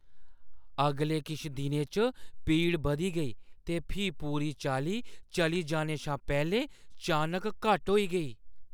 अगले किश दिनें च पीड़ बधी गेई ते फ्ही पूरी चाल्ली चली जाने शा पैह्‌लें चानक घट्ट होई गेई।